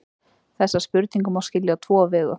Þessa spurningu má skilja á tvo vegu.